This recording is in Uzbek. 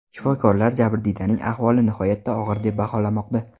Shifokorlar jabrdiydaning ahvoli nihoyatda og‘ir deb baholamoqda.